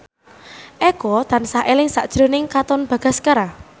Eko tansah eling sakjroning Katon Bagaskara